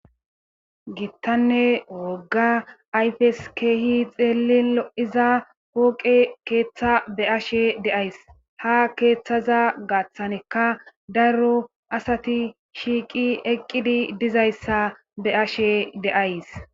giittanne wogga ayfes keehi xeellin 7iza pooqe keeththa be ashe deays ha keeththaza gaththaneka darro asati shiiqi eqqidi dizayssa be ashe de'ays